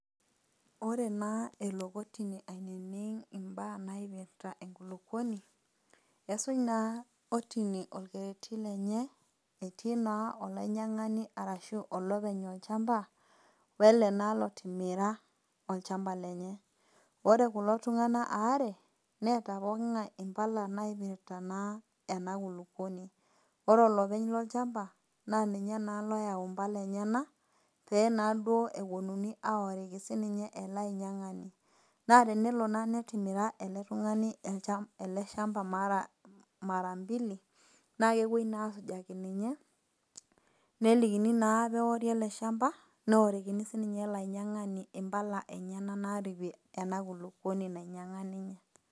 Ore naa elo kotini ainining' imbaa naipirta enkulukuoni, esuj naa kotini olkereti lenye etii naa olainyang'ani arashu olopeny olchamba, wele naa lotimira olchamba lenye. Ore kulo tung'ana aare, neata pooking'ai impala naipirta naa ena kulukuoni, ore olopeny lolchamba naa ninye naa oyau impala enyena pee naa duo ewuonuni aoriki siininye olainyang'ani. Naa tenelo naa netimira ele tung'ani ele shamba mara mbili, naa kepuoi naa asujaki ninye, nelikini naaa peori ele shamba neorikini sinye ele ainyang'ani impala enyena naaripie ena kulukuoni enye nainyang'ua ninye.